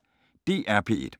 DR P1